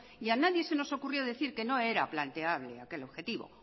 y a nadie se nos ocurrió decir que no era planteable aquel objetivo